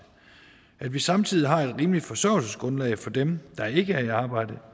at vi samtidig har et rimeligt forsørgelsesgrundlag for dem der ikke er i arbejde